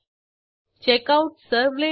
ज्यामध्ये तुम्हाला प्रॉजेक्टचा सारांश मिळेल